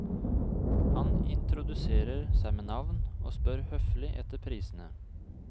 Han introduserer seg med navn, og spør høflig etter prisene.